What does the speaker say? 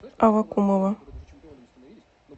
аввакумова